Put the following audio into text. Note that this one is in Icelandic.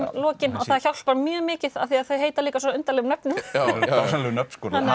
lokin og það hjálpar mjög mikið af því þau heita líka svo undarlegum nöfnum dásamleg nöfn